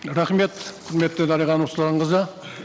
рахмет құрметті дариға нұрсұлтанқызы